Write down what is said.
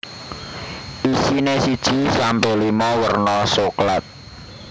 Isine siji sampe limo werna soklat